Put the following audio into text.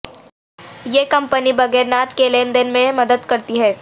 یہ کمپنی بغیر نعد کے لین دین میں مدد کرتی ہے